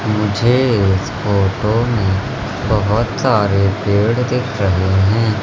मुझे इस फोटो में बहोत सारे पेड़ दिख रहे हैं।